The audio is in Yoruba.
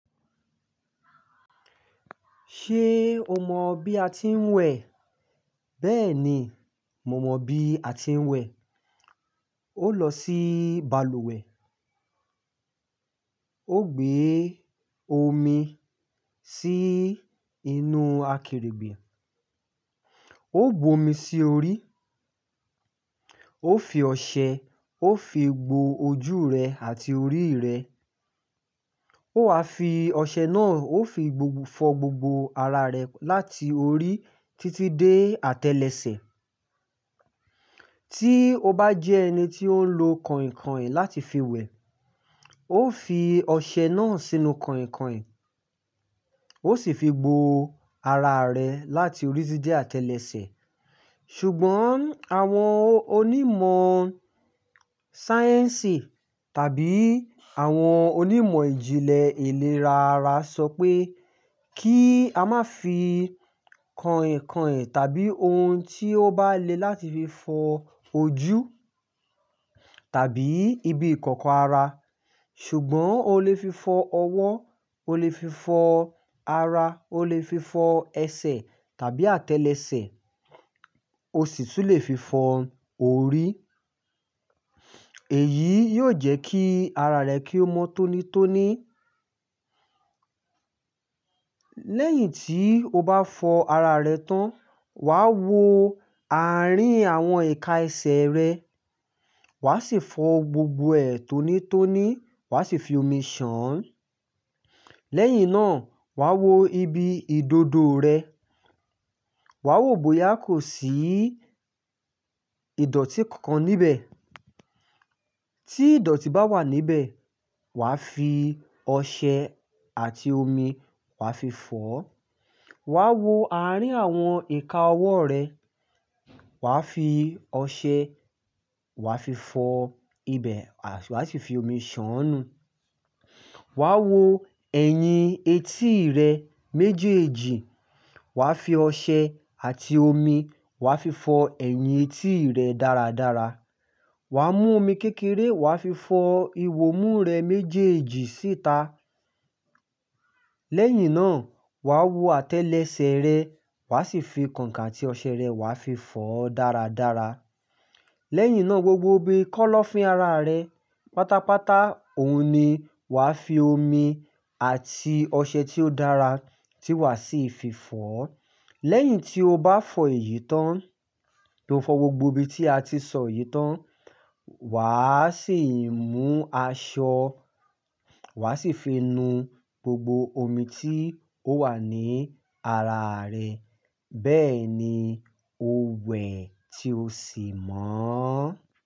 Ṣé o mọ bí a ti ń wẹ̀? Bẹ́ẹ̀ ni, mo mọ bí a ti ń wẹ̀. Ó lọ sí balùwẹ̀, ó gbe omi sí inú àkèrègbè, ó bu omi sí orí, ó fi ọṣẹ, ó fi gbó ojú rẹ̀ àti orí rẹ̀. Ó wá fi ọṣẹ náà, ó fi gbogbo fọ gbogbo ara rẹ̀ láti orí títí dé àtẹ́lẹsẹ̀. Tí o bá jẹ́ ẹni tí ó ń lo kàìnkàìn láti fi wẹ̀, ó fi ọṣẹ náà sínú kàìnkàìn, ó sì fi gbó ara rẹ̀ láti orí títí dé àtẹ́lẹsẹ̀. Ṣùgbọ́n àwọn onímọ̀ sáyẹ́ǹsì tàbí àwọn onímọ̀ ìjìnlẹ̀ ìlera ara sọ pé kí a má fi kàìnkàìn tàbí ohun tí ó bá le láti fi fọ ojú tàbí ibi ìkọ́kọ́ ara. Ṣùgbọ́n o lè fi fọ ọwọ́, o lè fi fọ ara, o lè fi fọ ẹsẹ̀ tàbí àtẹ́lẹsẹ̀, o sì tún lè fi fọ orí. Èyí yóò jẹ́ kí ara rẹ kí ó mọ́ tónítóní. Lẹ́yìn tí o bá fọ ara rẹ tán, wà wó àárín àwọn ìka ẹsẹ̀ rẹ, wà sì fọ gbogbo ẹ̀ tónítóní, wà sì fi omi ṣàn án. Lẹ́yìn náà wà wó ibi ìdodo rẹ, wà wò bóyá kò sí ìdọ̀tí kankan níbẹ̀. Tí ìdọ̀tí bá wà níbẹ̀, wà fi ọṣẹ àti omi, wà fi fọ ọ́. Wà wó àárín àwọn ìka ọwọ́ rẹ, wà fi ọṣẹ, wà fi fọ ibẹ̀, wà sì fi omi ṣàn nu. Wà wó ẹ̀yìn etí rẹ méjèèjì, wà fi ọṣẹ àti omi, wà fi fọ ẹ̀yìn etí rẹ dáradára. Wà mú omi kékeré, wà fi fọ ìwọ̀mú rẹ méjèèjì síta. Lẹ́yìn náà wà wó àtẹ́lẹsẹ̀ rẹ, wà sì fi kọ̀ǹkon àti ọṣẹ rẹ, wà fi fọ ọ́ dáradára. Lẹ́yìn náà gbogbo ibi kọ́lọ́fín ara rẹ, pátápátá òun ni wà fi omi àti ọṣẹ tí ó dára tí wà sì fi fọ ọ́. Lẹ́yìn tí o bá fọ èyí tán, tí o fọ gbogbo ibi tí a ti sọ yìí tán, wà á sì mú aṣọ, wà sì fi nu gbogbo omi tí ó wà ní ara rẹ. Bẹ́ẹ̀ ni o wẹ̀ tí o sì mọ́.